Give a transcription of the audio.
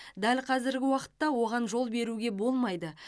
дәл қазіргі уақытта оған жол беруге болмайды